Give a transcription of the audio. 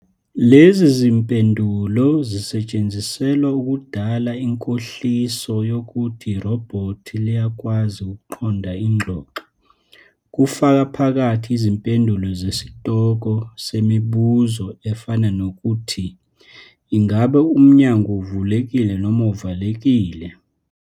Lezi zimpendulo zisetshenziselwa ukudala inkohliso yokuthi irobhothi liyakwazi ukuqonda ingxoxo, kufaka phakathi izimpendulo zesitoko semibuzo efana nokuthi "Ingabe umnyango uvulekile noma uvaliwe?"